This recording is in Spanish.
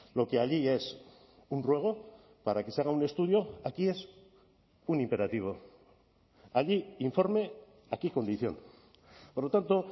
lo que allí es un ruego para que se haga un estudio aquí es un imperativo allí informe aquí condición por lo tanto